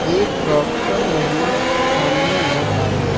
एक डॉक्टर महिला सामने नजर आ रही--